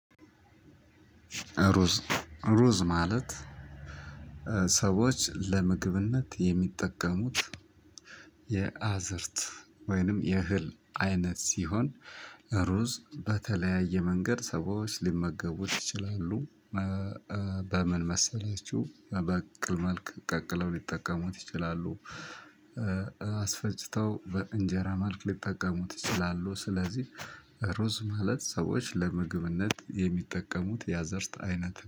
ሩዝ ሩዝ ማለት ሰዎች ለምግብነት የሚጠቀሙት የአዝርት ወይንም የእህል አይነት ሲሆን ሩዝ በተለያየ መንገድ ሰዎች ሊመገቡት ይችላሉ። በምን መሰላችሁ? በቅቅል መልክ ቀቅለው ሊጠቀሙት ይችላሉ። አስፈጪተው በእንጀራ መልክ ሊጠቀሙት ይችላሉ። ስለዚህ ሩዝ ማለት ሰዎች ለምግብነት የአዝርት አይነት ነው